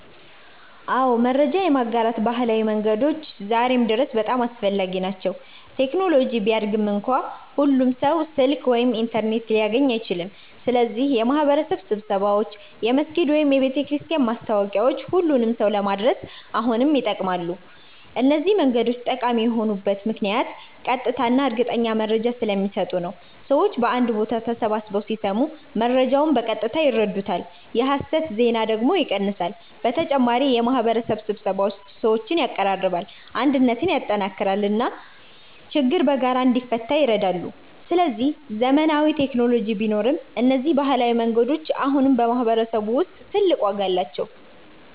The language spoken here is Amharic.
አዎ፣ መረጃ የማጋራት ባህላዊ መንገዶች ዛሬም ድረስ በጣም አስፈላጊ ናቸው። ቴክኖሎጂ ቢያድግም እንኳ ሁሉም ሰው ስልክ ወይም ኢንተርኔት ሊያገኝ አይችልም። ስለዚህ የማህበረሰብ ስብሰባዎች፣ የመስጊድ ወይም የቤተክርስቲያን ማስታወቂያዎች ሁሉንም ሰው ለመድረስ አሁንም ይጠቅማሉ። እነዚህ መንገዶች ጠቃሚ የሆኑት ምክንያት ቀጥታ እና እርግጠኛ መረጃ ስለሚሰጡ ነው። ሰዎች በአንድ ቦታ ተሰብስበው ሲሰሙ መረጃውን በቀጥታ ይረዱታል፣ የሐሰት ዜና ደግሞ ይቀንሳል። በተጨማሪ የማህበረሰብ ስብሰባዎች ሰዎችን ያቀራርባሉ፣ አንድነትን ያጠናክራሉ እና ችግር በጋራ እንዲፈታ ይረዳሉ። ስለዚህ ዘመናዊ ቴክኖሎጂ ቢኖርም እነዚህ ባህላዊ መንገዶች አሁንም በማህበረሰብ ውስጥ ትልቅ ዋጋ አላቸው።